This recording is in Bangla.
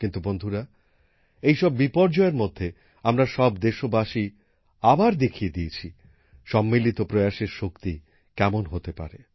কিন্তু বন্ধুরা এই সব বিপর্যয়ের মধ্যে আমরা সব দেশবাসী আবার দেখিয়ে দিয়েছি সম্মিলিত প্রয়াসের শক্তি কেমন হতে পারে